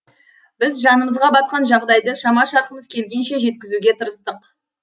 біз жанымызға батқан жағдайды шама шарқымыз келгенше жеткізуге тырыстық